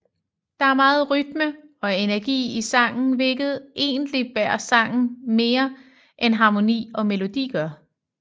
Der er meget rytme og energi i sangen hvilket egentligt bærer sangen mere end harmoni og melodi gør